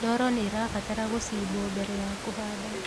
ndoro nĩrabatara gucimbwo mbere ya kuhanda